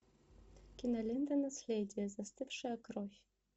кинолента наследие застывшая кровь